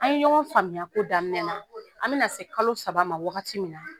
An ye ɲɔgɔn faamuya ko daminɛ na an bɛna se kalo saba ma waagati min na